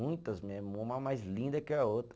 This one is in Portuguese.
Muitas mesmo, uma mais linda que a outra.